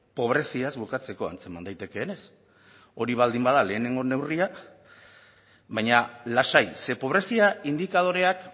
pobreziaz bukatzeko antzeman daitekeenez hori baldin bada lehenengo neurria baina lasai ze pobrezia indikadoreak